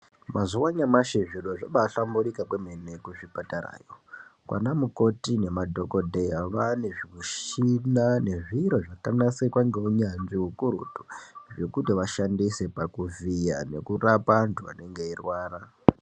Mazuva anyamashi zviro zvabahlamburuka kwemene kuzvipatarayo vana mukoti nemadhokodheya vane zvimushina nezviro zvakanasirwa neunyanzvi ukurutu zvekuti ashandise pakuvhiya nekurapa antu anenge eirwara.